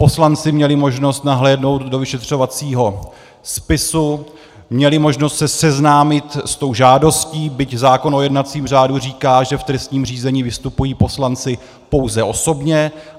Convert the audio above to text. Poslanci měli možnost nahlédnout do vyšetřovacího spisu, měli možnost se seznámit s tou žádostí, byť zákon o jednacím řádu říká, že v trestním řízení vystupují poslanci pouze osobně.